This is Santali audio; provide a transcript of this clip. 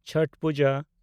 ᱪᱷᱚᱴ ᱯᱩᱡᱟ